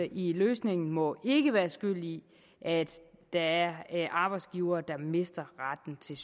i løsningen må ikke være skyld i at der er arbejdsgivere der mister retten til